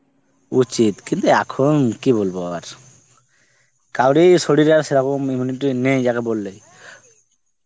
উচিত, কিন্তু এখন কি বলব আর কাউরে শরীররে আর immunity নেই যাকে বললেই